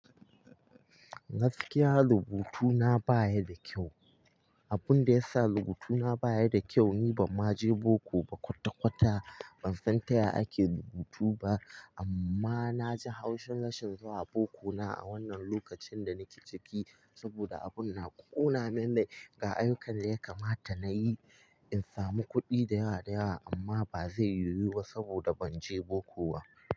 Gaskiya rubutuna baya da kyau. Abunda yasa rubutuna baya da kyau ni bamma je boko ba kwata-kwata ban san taya ake rubutu ba amma naji haushin rashin zuwa boko na a wannan lokacin da nake ciki saboda abunna ƙona min rai ga ayyukan da yakamata nayi in samu kudi dayawa dayawa amma bazai yiwu ba saboda ban je boko ba.